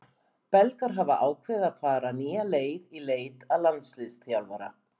Belgar hafa ákveðið að fara nýja leið í leit að landsliðsþjálfara.